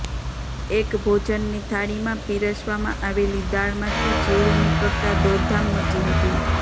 એક ભોજનની થાળીમાં પીરસવામાં આવેલી દાળમાંથી જીવડું નીકળતાં દોડધામ મચી હતી